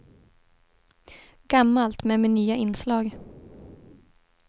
Gammalt, men med nya inslag.